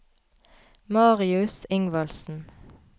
Marius Ingvaldsen